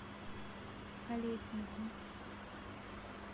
колеснику